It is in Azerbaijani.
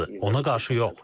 Ona qarşı yox.